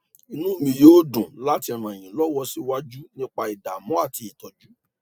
inú mi yóò dùn láti ràn yín lọwọ síwájú nípa ìdámọ àti ìtọjú